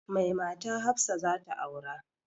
Mai mata hafsa zata aura